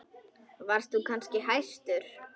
Varst þú kannski hæstur?